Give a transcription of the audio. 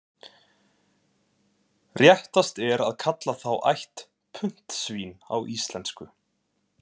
Réttast er að kalla þá ætt puntsvín á íslensku.